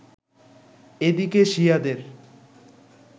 এদিকে শিয়াদের